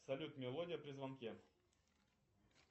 салют мелодия при звонке